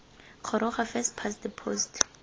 goroga first past the post